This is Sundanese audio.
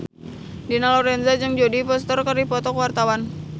Dina Lorenza jeung Jodie Foster keur dipoto ku wartawan